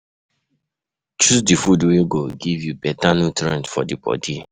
Choose di food wey go give you better nutrients for di bodi